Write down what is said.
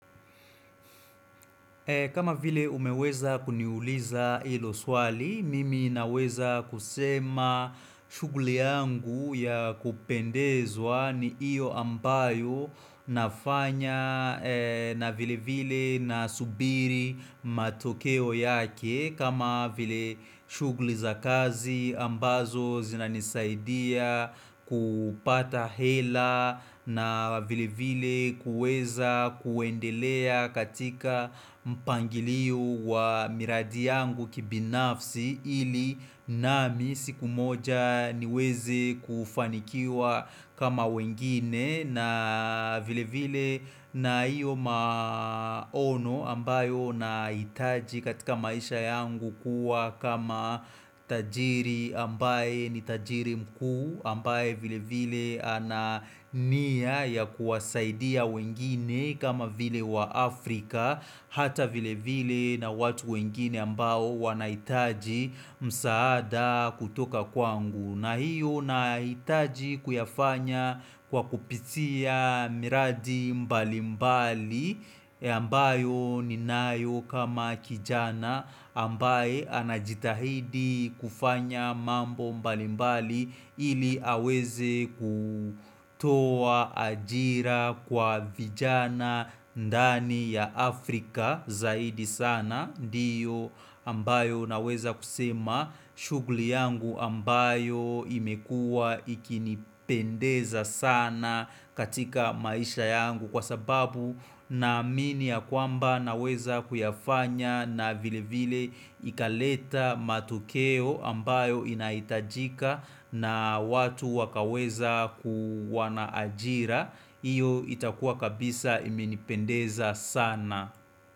Kama vile umeweza kuniuliza ilo swali, mimi naweza kusema shuguli yangu ya kupendezwa ni iyo ambayo nafanya na vile vile na subiri matokeo yake. Kama vile shugli za kazi ambazo zinanisaidia kupata hela na vile vile kuweza kuendelea katika mpangilio wa miradi yangu kibinafsi ili nami siku moja niweze kufanikiwa kama wengine na vile vile na hiyo maono ambayo naitaji katika maisha yangu kuwa kama tajiri ambaye ni tajiri mkuu ambaye vile vile ana nia ya kuwasaidia wengine kama vile wa Afrika Hata vile vile na watu wengine ambayo wanaitaji msaada kutoka kwangu na hiyo nahitaji kuyafanya kwa kupitia miradi mbali mbali ambayo ninayo kama kijana ambaye anajitahidi kufanya mambo mbali mbali ili aweze kutoa ajira kwa vijana ndani ya Afrika zaidi sana Ndiyo ambayo naweza kusema shuguli yangu ambayo imekua ikinipendeza sana katika maisha yangu kwa sababu na amini ya kwamba naweza kuyafanya na vile vile ikaleta matokeo ambayo inahitajika na watu wakaweza kuwa na ajira. Iyo itakua kabisa imenipendeza sana.